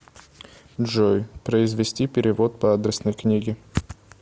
джой произвести перевод по адресной книге